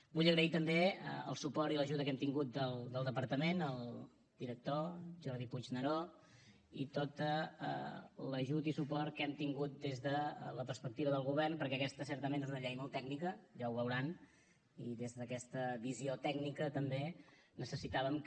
vull agrair també el suport i l’ajuda que hem tingut del departament al director jordi puigneró i tot l’ajut i suport que hem tingut des de la perspectiva del govern perquè aquesta certament és una llei molt tècnica ja ho veuran i des d’aquesta visió tècnica també necessitàvem que